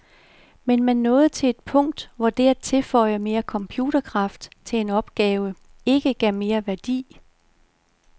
Men man nåede til et punkt, hvor det at tilføje mere computerkraft til en opgave ikke gav mere værdi.